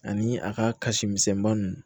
Ani a ka kasi misɛnninba ninnu